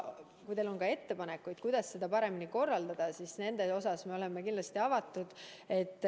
Kui teil on ettepanekuid, kuidas seda paremini korraldada, siis nende osas me oleme kindlasti avatud.